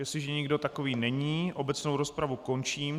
Jestliže nikdo takový není, obecnou rozpravu končím.